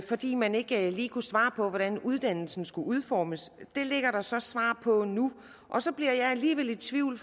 fordi man ikke lige kunne svare på hvordan uddannelsen skulle udformes det ligger der så svar på nu og så bliver jeg alligevel i tvivl